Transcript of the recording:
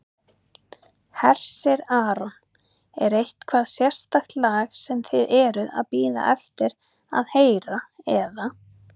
Hersir Aron: Er eitthvað sérstakt lag sem þið eruð að bíða eftir að heyra eða?